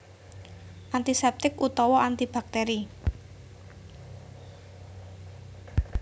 Antiseptik utawa antibakteri